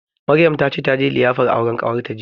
Maryam ta ce taje liyafar auren ƙawarta jiya